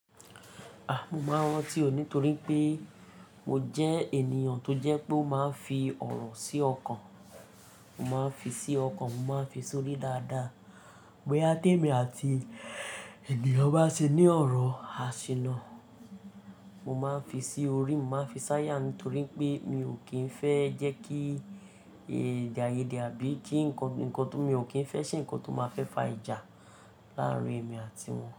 Mo máa ń rántí ò nítorí pé mo jẹ́ ènìyàn tó jẹ́ pé o máa ń fi ọ̀rọ̀ sí ọkàn. Mo máa ń fi sí ọkàn, mo máa ń fi sọrí dáadáa. Bòyá té mi àti ènìyàn bá ṣe ní ọ̀rọ̀, a ṣìná. Mo máa ń fi sí orí, mo máa ń fi sáyà nítorí pé mi ò kí ń fẹ́ jẹ́ kí ède aiyéde àbí kí ǹkan, nkan tó, mi ò kí ń fẹ́ ṣe ǹkan tó máa fẹ́ fa ìjà làárín èmi àtiwọn.